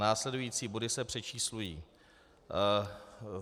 Následující body se přečíslují.